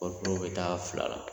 Kɔɔri bɛ taa fila la.